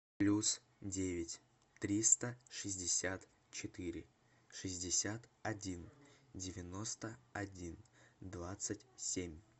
плюс девять триста шестьдесят четыре шестьдесят один девяносто один двадцать семь